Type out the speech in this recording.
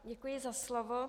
Děkuji za slovo.